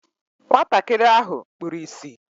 Nwatakịrị ahụ kpuru ịsị